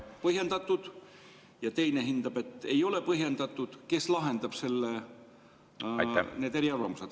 … põhjendatud, ja teine hindab, et ei ole põhjendatud, siis kes lahendab need eriarvamused.